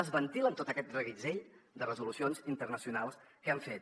es ventilen tot aquest reguitzell de resolucions internacionals que han fet